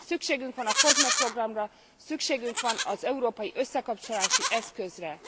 Szükségünk van a Kosme programra, szükségünk van az európai összekapcsolási eszközre.